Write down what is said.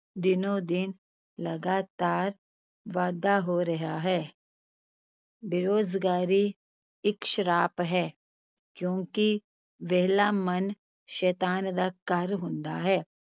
ਦਿਨੋ-ਦਿਨ ਲਗਾਤਾਰ ਵਾਧਾ ਹੋ ਰਿਹਾ ਹੈ ਬੇਰੁਜ਼ਗਾਰੀ ਇਕ ਸਰਾਪ ਹੈ ਕਿਉਂਕਿ ਵਿਹਲਾ ਮਨ ਸ਼ੈਤਾਨ ਦਾ ਘਰ ਹੁੰਦਾ ਹੈ।